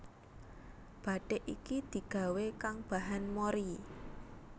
Bathik iki digawé kang bahan mori